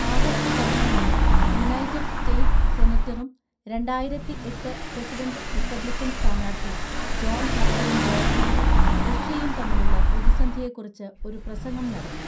ആഗസ്ത് പതിനൊന്നിന് United States സെനറ്ററും രണ്ടായിരത്തിഎട്ട് പ്രസിഡന്റ് റിപ്പബ്ലിക്കൻ സ്ഥാനാർത്ഥി ജോൺ മക്കെയ്ൻ ജോർജിയയും റഷ്യയും തമ്മിലുള്ള പ്രതിസന്ധിയെക്കുറിച്ച് ഒരു പ്രസംഗം നടത്തി.